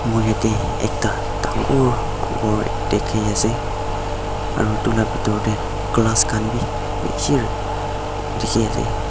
moi jatte ekta dagur gour dekhi ase aru etu laga bethor te glass khan bhi bisi dekhi ase.